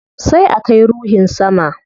Sai a kai ruhin sama